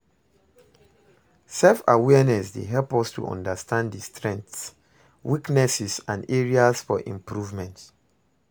self-awareness dey help us to understand di strengths, weaknesses and areas for improvement.